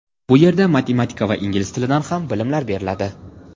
Bu yerda matematika va ingliz tilidan ham bilimlar beriladi.